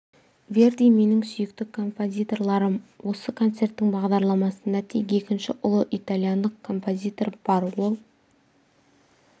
верди менің сүйікті композиторларым осы концерттің бағдарламасында тек екінші ұлы итальяндық композитор бар ол